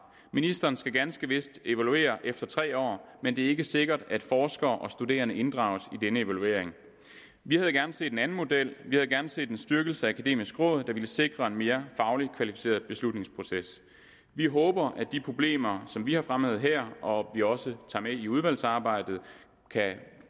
ministeren skal ganske vist evaluere efter tre år men det er ikke sikkert at forskere og studerende inddrages i denne evaluering vi havde gerne set en anden model vi havde gerne set en styrkelse af akademisk råd der ville sikre en mere fagligt kvalificeret beslutningsproces vi håber at de problemer som vi har fremhævet her og vi også tager med i udvalgsarbejdet kan